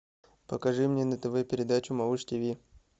покажи мне на тв передачу малыш тв